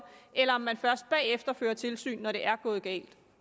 eller om man først bagefter fører tilsyn når det er gået galt